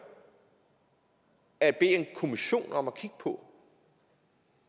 at bede en kommission om at kigge på